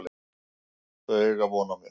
Þau eiga von á mér.